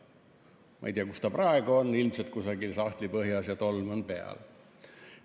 Ma ei tea, kus ta praegu on, ilmselt kusagil sahtlipõhjas ja tolm peal.